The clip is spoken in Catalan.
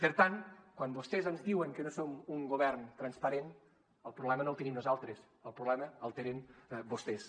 per tant quan vostès ens diuen que no som un govern transparent el problema no el tenim nosaltres el problema el tenen vostès